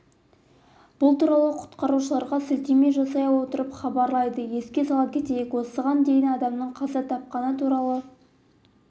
бұл туралы құтқарушыларға сілтеме жасай отырып хабарлайды еске сала кетейік осыған дейін адамның қаза тапқаны туралы